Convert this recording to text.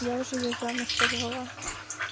я уже её замуж позвала